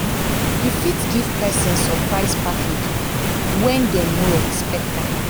you fit give person surprise package when dem no expect um am